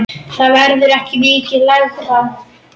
Það verður ekki mikið lægra.